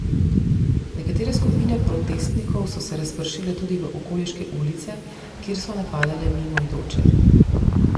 Nekatere skupine protestnikov so se razpršile tudi v okoliške ulice, kjer so napadale mimoidoče.